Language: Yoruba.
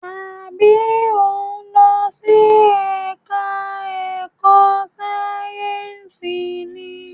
Àbí o ń lọ sí ẹka ẹ̀kọ́ sáyẹnsì ni?